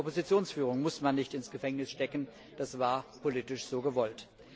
Auch die Oppositionsführung muss man nicht ins Gefängnis stecken, das war politisch so gewollt.